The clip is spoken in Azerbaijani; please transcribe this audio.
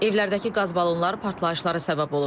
Evlərdəki qaz balonları partlayışlara səbəb olub.